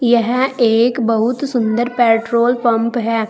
यह एक बहुत सुंदर पेट्रोल पंप है।